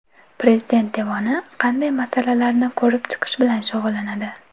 Prezident Devoni qanday masalalarni ko‘rib chiqish bilan shug‘ullanadi?.